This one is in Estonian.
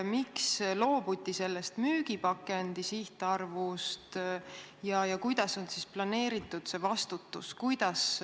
Miks loobuti sellest müügipakendi sihtarvust ja kuidas on planeeritud vastutus selle eest?